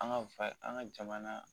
An ka fa an ka jamana